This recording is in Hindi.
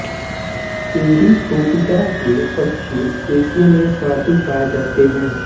एरिथ्रोपिटा के पक्षी एशिया में सर्वाधिक पाए जाते हैं